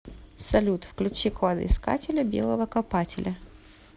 салют включи кладоискателя белого копателя